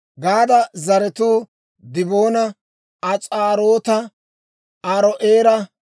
Gaada zaratuu Diboona, As'aaroota, Aaro'eera